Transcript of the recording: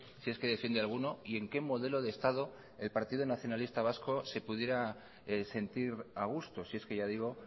si es que defiende alguno y en qué modelo de estado el partido nacionalista vasco se pudiera sentir a gusto si es que ya digo